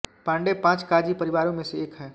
पाण्डे पाँच काजी परिवारों में से एक है